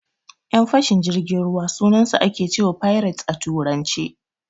Yan fashin jirgin ruwa sunansu ake cewa "pirates" a Turance.